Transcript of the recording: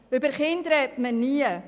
Über Kinder spricht man nie.